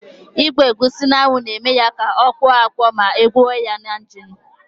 Ịgba egusi n'anwụ na-eme ya ya akpọ akpọ ma akwọwa ya na injin.